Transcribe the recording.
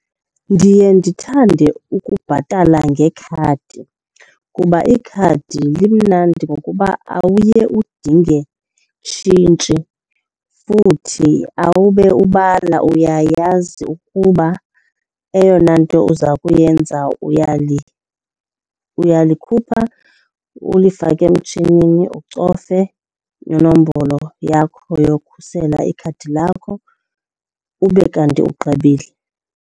Ndiye ndithande ukubhatala ngekhadi kuba ikhadi limnandi ngokuba awuye udinge tshintshi futhi awube ubala. Uyayazi ukuba eyona nto uza kuyenza uyalikhupha ulifake emtshinini, ucofe inombolo yakho yokhusela ikhadi lakho ube kanti ugqibile.